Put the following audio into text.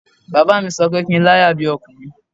Baba mi sọ pé kí n láyà bí ọkùnrin